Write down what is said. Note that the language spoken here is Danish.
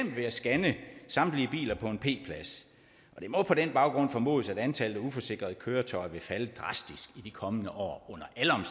ved at scanne samtlige biler på en p plads det må på den baggrund formodes at antallet af uforsikrede køretøjer vil falde drastisk i de kommende år